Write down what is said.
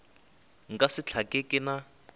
nka se hlake ke na